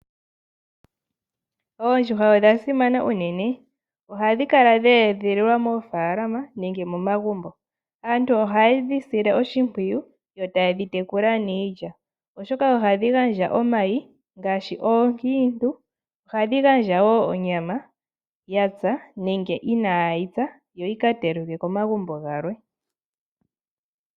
Oondjuhwa odha simana unene. Ohadhi kala dhe edhiliwa moofaalama nenge momagumbo. Aantu oha yedhi sile oshimpwiyu yo taye dhi tekula niilya. Oshoka ohadhi gandja omayi ngaashi oonkiintu. Ohadhi gandja wo onyama ya pya nenge inaayi pya yo yika telekwe komagumbo galwe.